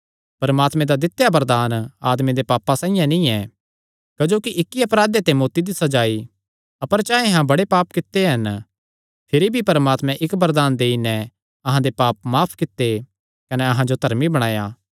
परमात्मे दा दित्या वरदान आदमे दे पापां साइआं नीं ऐ क्जोकि इक्की अपराधे ते मौत्ती दी सज़ा आई अपर चाहे अहां बड़े पाप कित्ते हन भिरी भी परमात्मे इक्क वरदान देई नैं अहां दे पाप माफ कित्ते कने अहां जो धर्मी बणाया